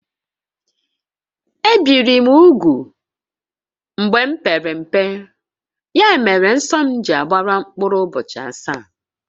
Ebìri m úgwù mgbe m pere mpe, ya mere nsọ m ji agbaru mkpụrụ ụbọchị asaá